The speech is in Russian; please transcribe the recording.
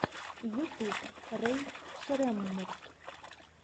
ютуб рэй шреммурд